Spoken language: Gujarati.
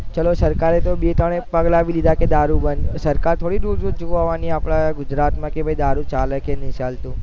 ચાલો સરકારે બે તન પગલાં બી લીધા કે દારૂ બંધ સરકાર થોડી દૂર દૂર જોવા આવી ને આપણા ગુજરાત માં દારૂ ચાલે કે નહીં ચાલતું